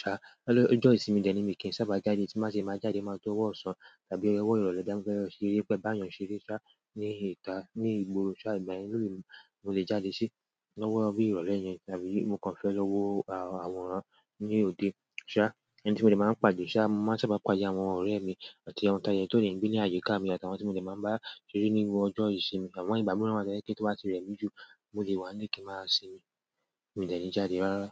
Ṣá, lọ́jọ́ ìsinmi dẹ̀ ní mi kì í sábà jáde, tí má ṣe máa jáde máa tó ọwọ́ ọ̀sán tàbí ọwọ́ ìrọ̀lẹ́ ti n ba fẹ́ lọ ṣe eré pẹ, bá ènìyàn ṣeré ṣá, ní ìta, ní ìgboro ṣá, ìgbà mìíràn mo lè jáde sí lọ́wọ́ bubìrọ̀lẹ́ yẹn tàbí mo kàn fẹ́ lọ wo àwọn àwòrán ní òde ṣá, ẹni tí mo dé máa ń pàdé ṣá, mo máa ń sábà pàdé àwọn ọ̀rẹ́ mi àti àwọn tà tó lè ń gbé ní àjọ̀kà mi àti àwọn tí mo dé máa ń bá ṣeré nígbà ọjọ́ ìsinmi, àwọn ìgbà mìíràn máa ṣe kí tó bá ti rẹ̀ mí jù, mo lè wá níle ki n máa sinmi, mi ò ní jáde rárá.